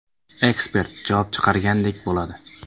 Ekspert javob chiqargandek bo‘ladi.